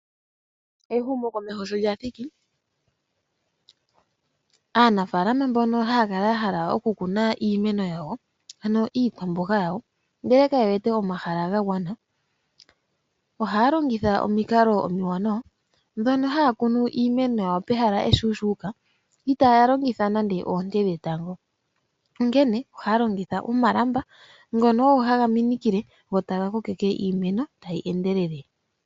Ehumokomeho sho lya thiki, aanafaalama mbono haya kala ya hala okukuna iimeno ano iikwamboga yawo ndele kaye wete omahala ga gwana, ohaya longitha omikalo omiwanawa ndhono haya kunu iimeno yawo iishuushuka itaaya longitha nande oonte dhetango, onkene ohaya longitha omalamba ngono haga minikile etaga kokeke iimeno hayi endelele.